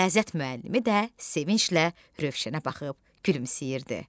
Riyaziyyat müəllimi də sevinclə Rövşənə baxıb gülümsəyirdi.